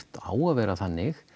á að vera þannig